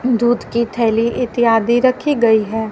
दूध की थैली इत्यादि रखी गई है।